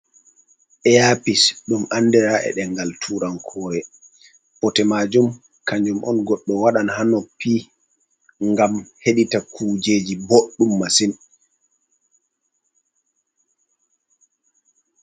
Earpiece ɗum andira e ɗengal turankoore. Bote majum kanjum on goɗɗo wadan haa noppi ngam hedita kujeji boɗɗum masin.